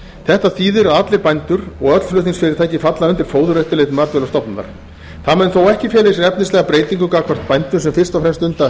þetta þýðir að allir bændur og öll flutningsfyrirtæki falla undir fóðureftirlit matvælastofnunar það mun þó ekki fela í sér efnislega breytingu gagnvart bændum sem fyrst og fremst stunda